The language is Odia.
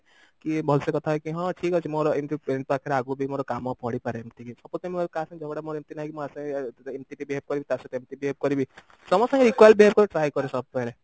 କି ଭଲସେ କଥା ହେଇକି ହଁ ଠିକ ଅଛି ମୋର ଏମତି ଏମତି ପାକରେ ଆଗକୁ ବି ମୋର କାମ ପଡିପାରେ ଏମତି କିଛି suppose ମୋର କାହା ସାଙ୍ଗରେ ଝଗଡା ଏମତି ନାଇଁ କି ମୁଁ ଆ ସାଙ୍ଗେ ଏମତି behave କରିବି ତା ସହିତ ଏମତି behave କରିବି ସମସ୍ତଙ୍କୁ equal behave କରିବାକୁ try କରେ ସବୁବେଳେ